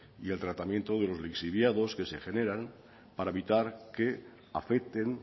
y el tratamiento de los lixiviados que se generan para evitar que afecten